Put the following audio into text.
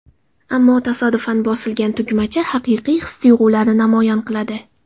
Ammo tasodifan bosilgan tugmacha haqiqiy his-tuyg‘ularni namoyon qiladi.